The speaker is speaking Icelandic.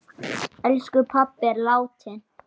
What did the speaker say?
Elsku pabbi er látinn.